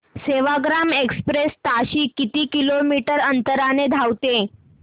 Sevagram express ताशी किती kilometre अंतराने धावते